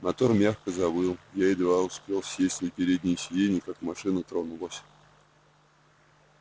мотор мягко завыл я едва успел сесть на переднее сиденье как машина тронулась